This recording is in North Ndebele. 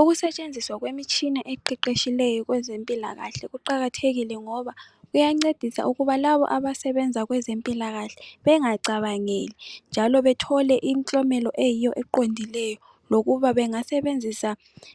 Ukusetshenziswa kwemitshina eqeqetshileyo kwezempilakahle kuqakathekile ngoba kuyancedisa ukuba labo abasebenza kwezempilakahle bengacabangeli njalo bethole imiklomelo eyiyo eqondileyo lokuba bengasebenzisa